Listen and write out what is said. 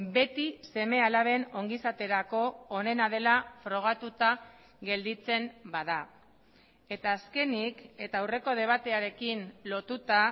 beti seme alaben ongizaterako onena dela frogatuta gelditzen bada eta azkenik eta aurreko debatearekin lotuta